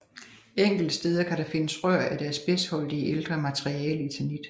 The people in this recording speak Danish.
Enkelte steder kan der findes rør af det asbestholdige ældre materiale eternit